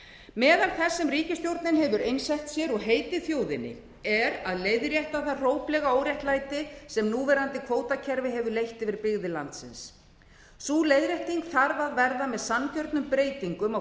meðal þess sem ríkisstjórnin hefur einsett sér og heitið þjóðinni er að leiðrétta það hróplega óréttlæti sem núverandi kvótakerfi hefur leitt yfir byggðir landsins sú leiðrétting þarf að verða með sanngjörnum breytingum á